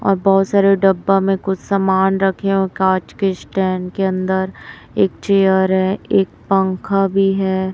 और बहोत सारे डब्बा में कुछ सामान रखे है और कांच के स्टैंड के अंदर एक चेयर है एक पंखा भी है।